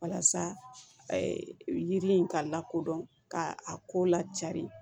Walasa yiri in ka lakodɔn ka a ko la cari